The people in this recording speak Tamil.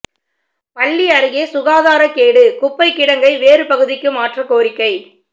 பள்ளி அருகே சுகாதாரக்கேடு குப்பை கிடங்கை வேறு பகுதிக்கு மாற்ற கோரிக்கை